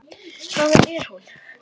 Hvaðan er hún?